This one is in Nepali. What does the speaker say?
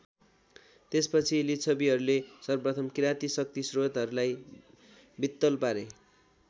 त्यसपछि लिच्छवीहरूले सर्वप्रथम किराती शक्तिश्रोतहरूलाई वित्तल पारे।